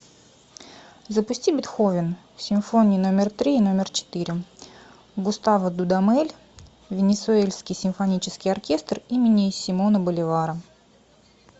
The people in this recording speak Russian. запусти бетховен симфония номер три и номер четыре густаво дудамель венесуэльский симфонический оркестр имени симона боливара